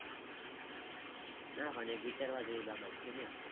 ના પણ એક વિચારવા જેવી બાબત છે ને.